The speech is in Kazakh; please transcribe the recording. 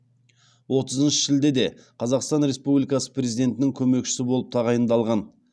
отызыншы шілдеде қазақстан республикасы президентінің көмекшісі болып тағайындалған